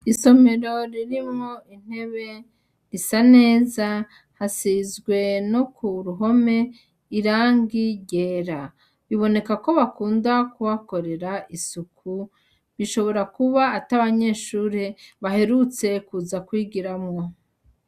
Isomero ririmwo intebe risa neza ,hasizwe no kuruhome irangi ryera, bibonekako bakunda kuhakorera isuku, bishobora kuba atabanyeshure baherutse kuza kwigiramwo.